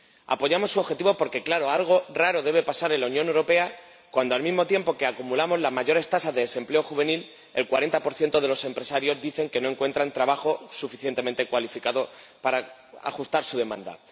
Apoyamos sus objetivos porque, claro, algo raro debe de pasar en la Unión Europea cuando, al mismo tiempo que acumulamos las mayores tasas de desempleo juvenil, el 40 de los empresarios dicen que no encuentran trabajadores suficientemente cualificados para ajustar a su demanda.